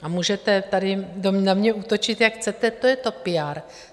A můžete tady na mě útočit, jak chcete, to je to PR.